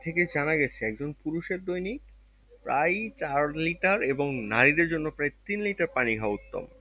থেকে জানা গেছে একজন পুরুষ এর দৈনিক প্রায় চার litter এবং নারী দেড় জন্য প্রায় তিন litter পানি খাওয়া উত্তম